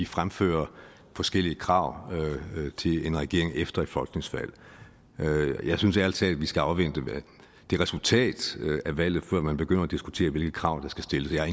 fremfører forskellige krav til en regering efter et folketingsvalg jeg synes ærlig talt at vi skal afvente resultatet af valget før man begynder at diskutere hvilke krav der skal stilles jeg